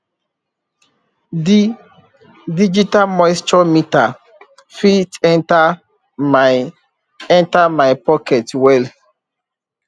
di digital moisture meter fit enter my enter my pocket well